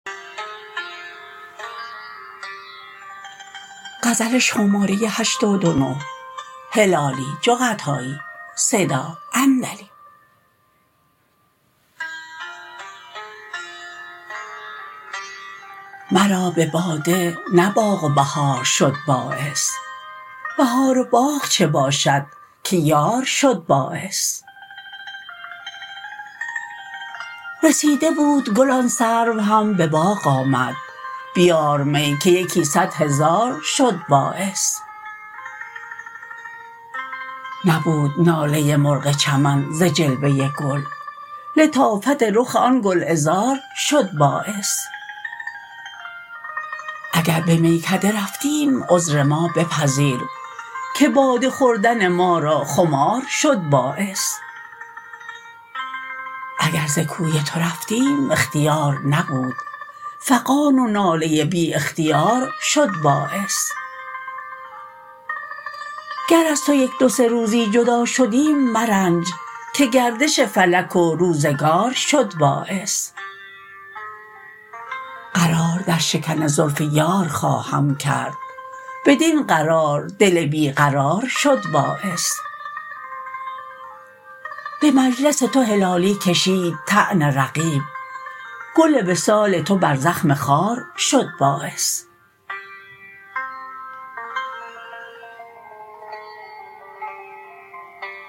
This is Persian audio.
مرا بباده نه باغ و بهار شد باعث بهار و باغ چه باشد که یار شد باعث رسیده بود گل آن سرو هم بباغ آمد بیار می که یکی صد هزار شد باعث نبود ناله مرغ چمن ز جلوه گل لطافت رخ آن گلعذار شد باعث اگر بمیکده رفتیم عذر ما بپذیر که باده خوردن ما را خمار شد باعث اگر ز کوی تو رفتیم اختیار نبود فغان و ناله بی اختیار شد باعث گر از تو یک دو سه روزی جدا شدیم مرنج که گردش فلک و روزگار شد باعث قرار در شکن زلف یار خواهم کرد بدین قرار دل بیقرار شد باعث بمجلس تو هلالی کشید طعن رقیب گل وصال تو بر زخم خار شد باعث